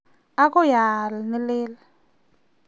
agoi aal ne leel